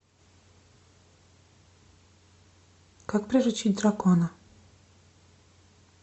как приручить дракона